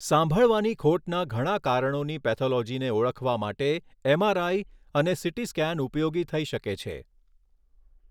સાંભળવાની ખોટના ઘણા કારણોની પેથોલોજીને ઓળખવા માટે એમઆરઆઈ અને સીટી સ્કેન ઉપયોગી થઈ શકે છે.